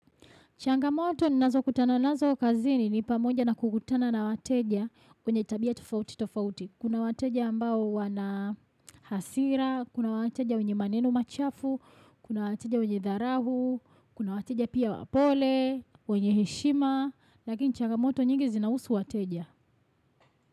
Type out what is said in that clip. Changamoto ninazo kutana nazo kazini ni pamoja na kukutana na wateja wenye tabia tofauti tofauti. Kuna wateja ambao wana hasira, kuna wateja wenye maneno machafu, kuna wateja wenye dharau, kuna wateja pia wapole, wenye heshima, lakini changamoto nyingi zinahusu wateja.